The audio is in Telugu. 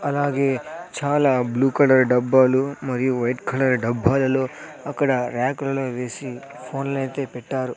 అలాగే చాలా బ్లూ కలర్ డబ్బాలు మరియు వైట్ కలర్ డబ్బాలలో అక్కడ ర్యాక్ లలో వేసి ఫోన్లైతే పెట్టారు.